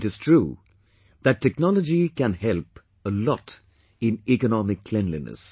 It is true that technology can help a lot in economic cleanliness